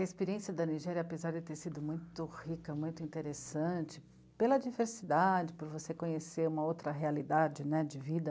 A experiência da Nigéria, apesar de ter sido muito rica, muito interessante, pela diversidade, por você conhecer uma outra realidade né, de vida,